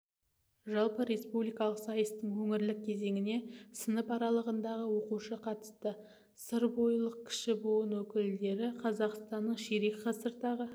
жалпы республикалық сайыстың өңірлік кезеңіне сынып аралығындағы оқушы қатысты сырбойылық кіші буын өкілдері қазақстанның ширек ғасырдағы